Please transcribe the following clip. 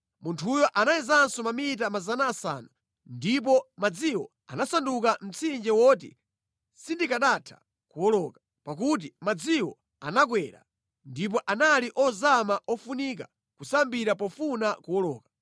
Munthuyo anayezanso mamita 500, ndipo madziwo anasanduka mtsinje woti sindikanatha kuwoloka, pakuti madziwo anakwera, ndipo anali ozama ofunika kusambira pofuna kuwoloka.